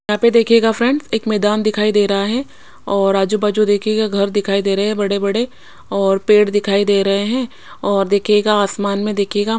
यहाँ पे देखिएगा फ्रेंड्स एक मैदान दिखाई दे रहा है और आजू बाजू देखिएगा घर दिखाई दे रहे है बड़े बड़े और पेड़ दिखाई दे रहे है और देखिएगा आसमान में देखिएगा--